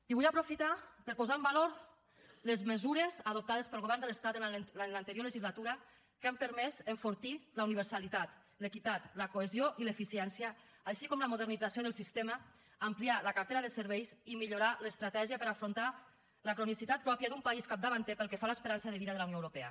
i vull aprofitar per posar en valor les mesures adoptades pel govern de l’estat en l’anterior legislatura que han permès enfortir la universalitat l’equitat la cohesió i l’eficiència així com la modernització del sistema ampliar la cartera de serveis i millorar l’estratègia per afrontar al cronicitat pròpia d’un país capdavanter pel que fa a l’esperança de vida de la unió europea